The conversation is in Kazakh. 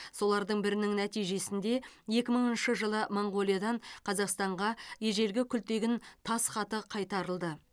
солардың бірінің нәтижесінде екі мыңыншы жылы моңғолиядан қазақстанға ежелгі күлтегін тас хаты кайтарылды